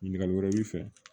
Ɲininkali wɛrɛ b'i fɛ